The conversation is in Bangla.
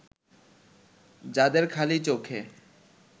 যাদের খালি চোখে